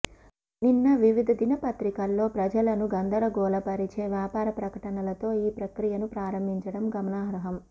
నిన్న వివిధ దినపత్రికల్లో ప్రజలను గందరగోళ పరిచే వ్యాపార ప్రకటనలతో ఈ ప్రక్రియను ప్రారంభించడం గమనార్హం